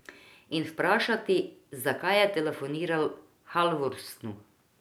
In vprašati, zakaj je telefoniral Halvorsnu.